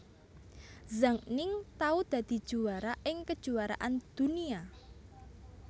Zhang Ning tau dadi juwara ing Kejuaraan Dunia